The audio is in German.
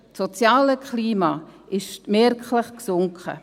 Das soziale Klima ist merklich gesunken.